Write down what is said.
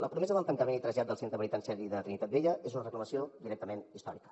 la promesa del tancament i trasllat del centre penitenciari de trinitat vella és una reclamació directament històrica